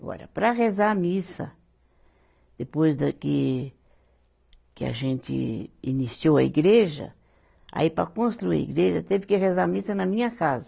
Agora, para rezar a missa, depois da que que a gente iniciou a igreja, aí para construir a igreja teve que rezar a missa na minha casa.